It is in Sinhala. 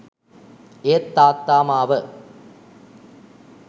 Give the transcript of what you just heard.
ඒත් තාත්තා මාව